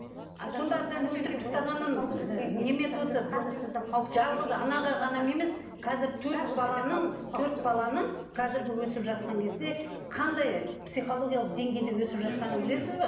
сонда әбден өлтіріп тастағанын жалғыз анаға ғана емес қазір төрт баланың төрт баланың қазіргі өсіп жатқан кезде қандай психологиялық деңгейде өсіп жатқанын білесіз бе